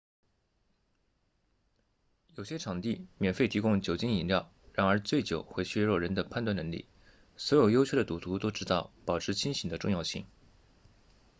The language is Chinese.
有些场地免费提供酒精饮料然而醉酒会削弱人的判断能力所有优秀的赌徒都知道保持清醒的重要性